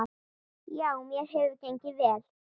Já, mér hefur gengið vel.